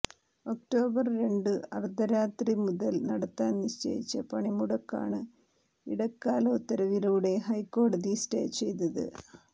October രണ്ടു അർധരാത്രി മുതൽ നടത്താൻ നിശ്ചയിച്ച പണിമുടക്കാണ് ഇടക്കാല ഉത്തരവിലൂടെ ഹൈക്കോടതി സ്റ്റേ ചെയ്തത്